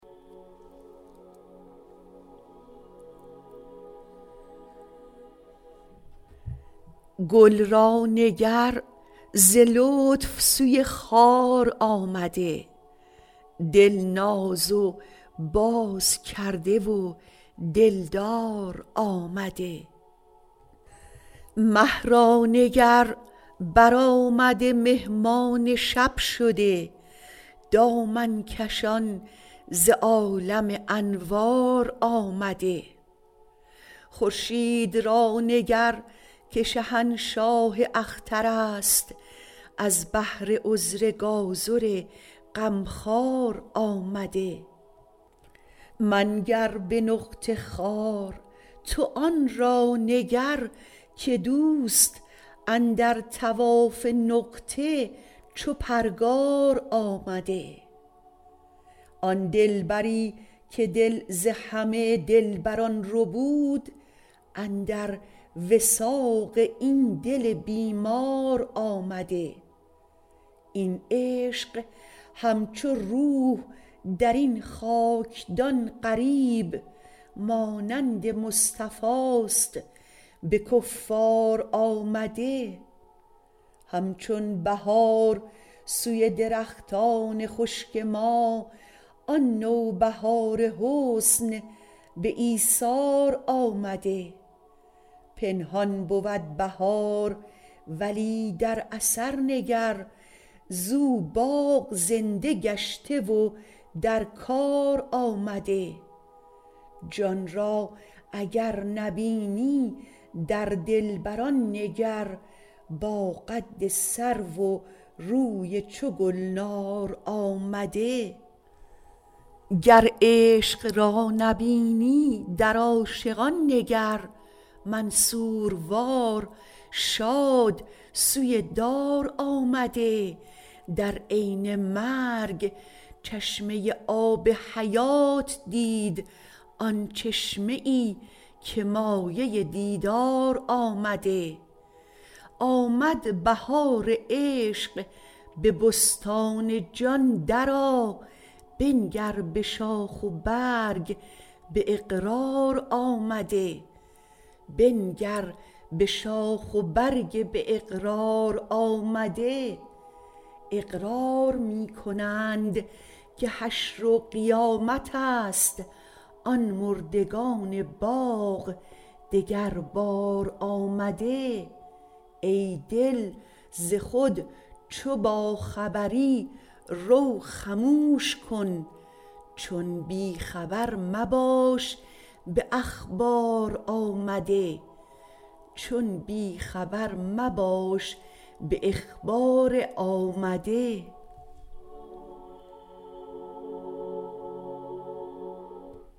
گل را نگر ز لطف سوی خار آمده دل ناز و باز کرده و دلدار آمده مه را نگر برآمده مهمان شب شده دامن کشان ز عالم انوار آمده خورشید را نگر که شهنشاه اختر است از بهر عذر گازر غمخوار آمده منگر به نقطه خوار تو آن را نگر که دوست اندر طواف نقطه چو پرگار آمده آن دلبری که دل ز همه دلبران ربود اندر وثاق این دل بیمار آمده این عشق همچو روح در این خاکدان غریب مانند مصطفاست به کفار آمده همچون بهار سوی درختان خشک ما آن نوبهار حسن به ایثار آمده پنهان بود بهار ولی در اثر نگر زو باغ زنده گشته و در کار آمده جان را اگر نبینی در دلبران نگر با قد سرو و روی چو گلنار آمده گر عشق را نبینی در عاشقان نگر منصوروار شاد سوی دار آمده در عین مرگ چشمه آب حیات دید آن چشمه ای که مایه دیدار آمده آمد بهار عشق به بستان جان درآ بنگر به شاخ و برگ به اقرار آمده اقرار می کنند که حشر و قیامت است آن مردگان باغ دگربار آمده ای دل ز خود چو باخبری رو خموش کن چون بی خبر مباش به اخبار آمده